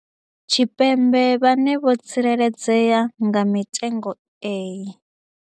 Tshipembe vhane vho tsireledzea nga mitengo iyi.